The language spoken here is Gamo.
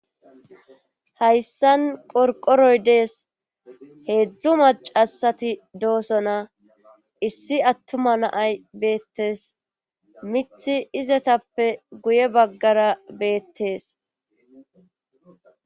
hayssan qorqoroy dees heedzdzu macasati doosona issi attuma naay beettes mithi izetappe guye baggara beettes